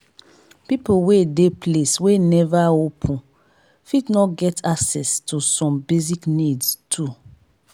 pipo wey de place wey never open fit no get access to some basic needs too